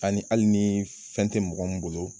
Ani hali ni fɛn tɛ mɔgɔ minnu bolo.